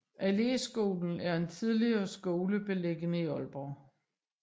Alléskolen er en tidligere skole beliggende i Aalborg